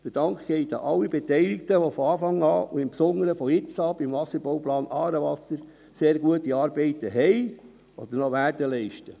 Der Dank geht an alle Beteiligten, die von Anfang an und im Besonderen ab jetzt beim Wasserbauplan «Aarewasser» sehr gute Arbeit geleistet haben oder noch leisten werden.